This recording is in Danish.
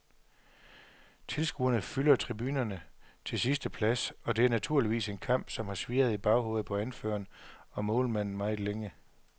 Tilskuerne fylder tribunerne til sidste plads, og det er naturligvis en kamp, som har svirret i baghovedet på anføreren og målmanden meget længe.